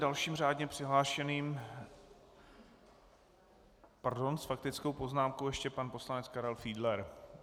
Dalším řádně přihlášeným - pardon, s faktickou poznámkou ještě pan poslanec Karel Fiedler.